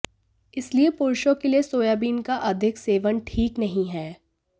इसलिए पुरुषों के लिए सोयाबीन का अधिक सेवन ठीक नहीं है